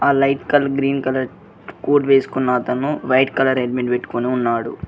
ఆ light colour green colour coat వేసుకున్న అతను వైట్ కలర్ హెల్మెట్ పెట్టుకొని ఉన్నాడు.